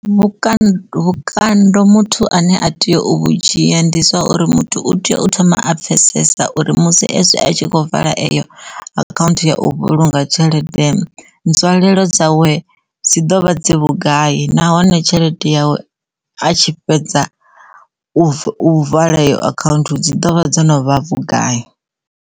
Vhukando, vhukando muthu ane a tea u vhu dzhia ndi zwa uri muthu u tea u thoma a pfhesesa uri musi s a tshi khou vala eyo account ya u vhulunga tshelede nzwalelo dzawe dzi dovha dzi vhugai nahone tshelede yawe ha tshi fhedza vala eyo account dzi dovha dzo no vha vhugai.